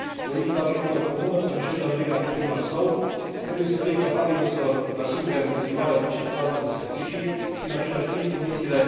Politica agricolă comună, prin cel de al doilea pilon al său, trebuie să fie capabilă să asigure în continuare accesul la astfel de servicii și în același timp condițiile.....